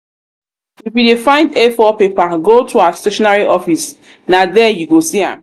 if you dey find a4 paper go to our stationery office na there you go see am